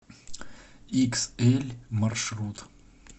иксэль маршрут